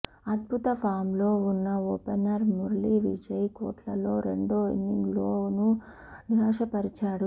అద్భుత ఫామ్లో ఉన్న ఓపెనర్ మురళీవిజయ్ కోట్లాలో రెండో ఇన్నింగ్స్లోనూ నిరాశపరిచాడు